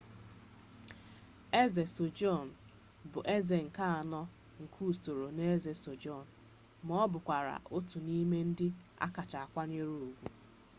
eze sejong bụ eze nke anọ nke usoro ndi eze joseon ma ọ bụkwa otu n'ime ndị a kacha akwanyere ugwu